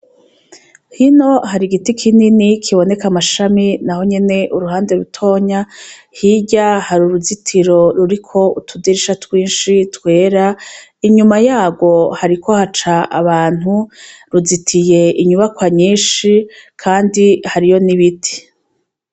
Hino hari igiti kinini kiboneka amashami na ho nyene uruhande rutonya hirya hari uruzitiro ruriko utudirisha twinshi twera inyuma yaho hariko haca abantu ruzitiye inyubakwa nyinshi, kandi hariyo nibiti.